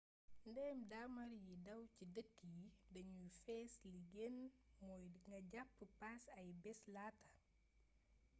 ndéem daamar yiy daw ci dëkk yi dañuy fees li gën mooy nga jàpp paas ay bés laata